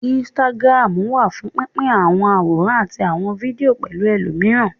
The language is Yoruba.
Instagram wà fún pín pín àwọn àwòrán àti àwọn fídíò pẹ̀lú ẹlòmíràn